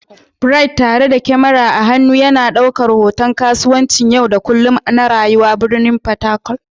Bright, tare da kyamara a hannu, yana ɗaukar hoton kasuwancin yau da kullun na rayuwar birnin Fatakwal.